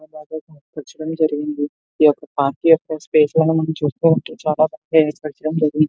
ఈ ఒక పార్టీ --